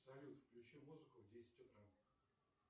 салют включи музыку в десять утра